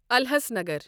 الَحسَنگر